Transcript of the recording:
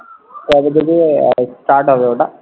কবে থেকে আহ start হবে ওটা?